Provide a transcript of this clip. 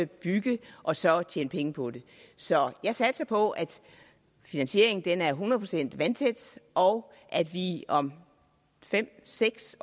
bygge og så tjene penge på det så jeg satser på at finansieringen er hundrede procent vandtæt og at vi om fem seks